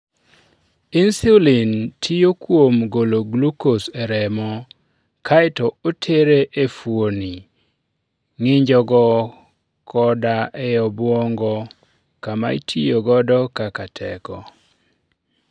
Insulin tiyo kuom golo glucose e remo, kae to otere e fuoni, ng'injogo, koda e obwongo, kama itiyo godo kaka teko.